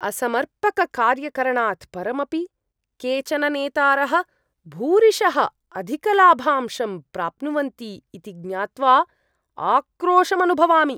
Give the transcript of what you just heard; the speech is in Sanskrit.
असमर्पककार्यकरणात्परमपि केचन नेतारः भूरिशः अधिकलाभांशं प्राप्नुवन्ति इति ज्ञात्वा आक्रोशम् अनुभवामि।